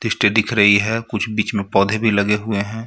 दिख रही है कुछ बीच में पौधे भी लगे हुए हैं.